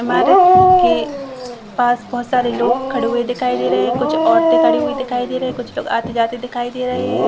मार्ग के पास बहोत सारे लोग खड़े हुए दिखाई दे रहे है कुछ औरते खड़ी हुई दिखाई दे रही है कुछ लोग आतॆ -जाते दिखाई दे रहे हैं ।